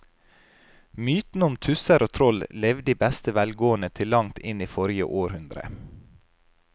Mytene om tusser og troll levde i beste velgående til langt inn i forrige århundre.